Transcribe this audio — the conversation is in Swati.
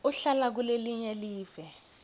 uhlala kulelinye live